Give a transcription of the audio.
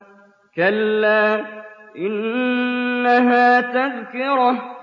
كَلَّا إِنَّهَا تَذْكِرَةٌ